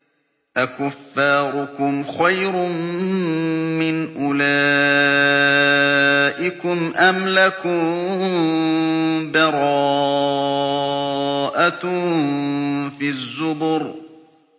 أَكُفَّارُكُمْ خَيْرٌ مِّنْ أُولَٰئِكُمْ أَمْ لَكُم بَرَاءَةٌ فِي الزُّبُرِ